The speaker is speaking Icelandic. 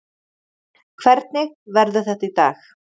Hvernig verður þetta í dag?